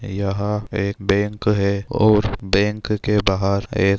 यहाँ एक बैंक हैऔर बैंक के बाहर एक--